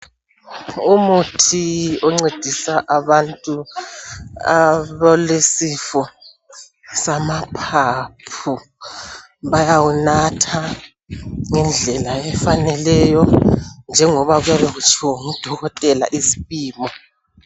Umuthi oncedisa abantu abalesifo samaphaphu , bayawunatha ngendlela efaneleyo njengoba kuyabe kutshiwo ngudokotela isipimo